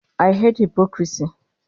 I hate hypocrisy